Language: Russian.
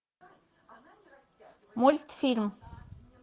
мультфильм